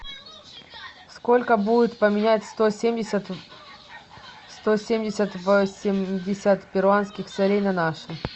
сколько будет поменять сто семьдесят восемьдесят перуанских солей на наши